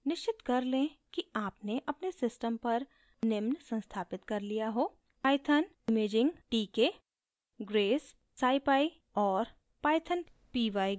निश्चित कर लें कि आपने अपने सिस्टम पर निम्न संस्थापित कर लिया हो: